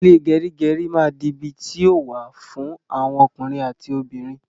Ile gerigeri ma di ibi ti o wa fun awon okunrin ati obinrin